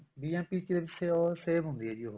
bmp ਚ save ਹੁੰਦੀ ਆ ਜੀ ਉਹ